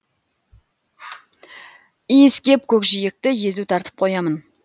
иіскеп көкжиекті езу тартып қоямын